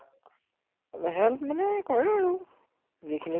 help মানে কৰে আৰু যিখিনি